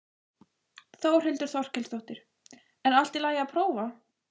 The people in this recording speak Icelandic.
Þórhildur Þorkelsdóttir: En allt í lagi að prófa?